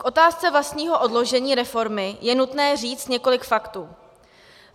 K otázce vlastního odložení reformy je nutné říct několik faktů.